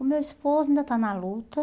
O meu esposo ainda está na luta.